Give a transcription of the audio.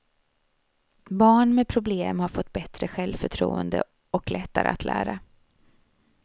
Barn med problem har fått bättre självförtroende och lättare att lära.